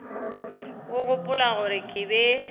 o gopola gore ke be